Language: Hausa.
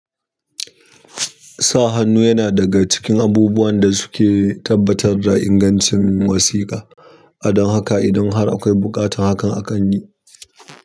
Sa hannu yana daga cikin abubuwan da suke tabbatar da ingancin wasiƙa, adon haka idan har akwai buƙatan hakan akan yi.